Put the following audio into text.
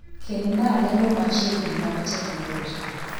Kelnaa lendo machiegni mag teknoloji